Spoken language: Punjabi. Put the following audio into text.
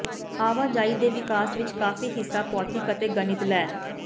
ਆਵਾਜਾਈ ਦੇ ਵਿਕਾਸ ਵਿਚ ਕਾਫੀ ਹਿੱਸਾ ਭੌਤਿਕ ਅਤੇ ਗਣਿਤ ਲੈ